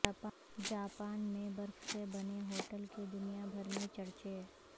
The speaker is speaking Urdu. جاپان میں برف سے بنے ہوٹل کے دنیا بھر میں چرچے